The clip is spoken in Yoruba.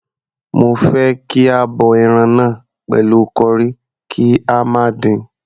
Mo fẹ́ kí a bọ ẹran náà pẹ̀lú curry, kí a má dín-in..